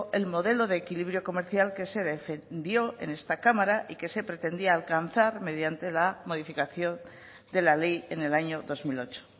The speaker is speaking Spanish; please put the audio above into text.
el modelo de equilibrio comercial que se defendió en esta cámara y que se pretendía alcanzar mediante la modificación de la ley en el año dos mil ocho